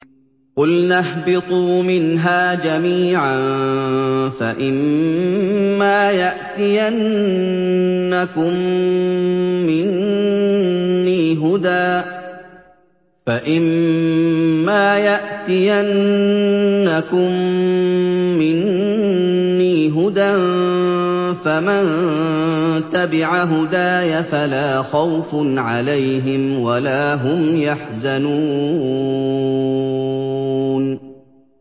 قُلْنَا اهْبِطُوا مِنْهَا جَمِيعًا ۖ فَإِمَّا يَأْتِيَنَّكُم مِّنِّي هُدًى فَمَن تَبِعَ هُدَايَ فَلَا خَوْفٌ عَلَيْهِمْ وَلَا هُمْ يَحْزَنُونَ